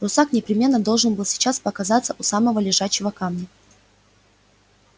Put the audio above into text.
русак непременно должен был сейчас показаться у самого лежачего камня